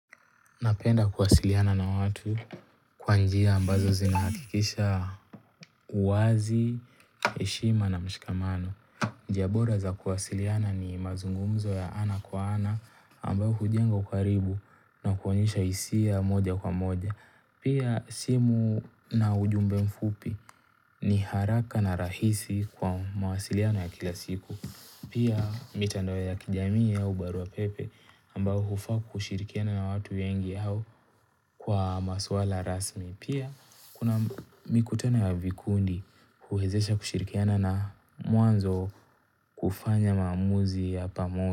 Napenda kuwasiliana na watu kwa njia ambazo zinahakikisha uwazi, heshima na mshikamano. Njia bora za kuwasiliana ni mazungumzo ya ana kwa ana ambayo hujenga ukaribu na kuonyesha hisia moja kwa moja. Pia simu na ujumbe mfupi ni haraka na rahisi kwa mawasiliano ya kila siku. Pia mitandao ya kijamii au barua pepe ambao hufaa kushirikiana na watu wengi au Kwa maswala rasmi. Pia kuna mikutano ya vikundi huwezesha kushirikiana na mwanzo kufanya maamuzi ya pamoja.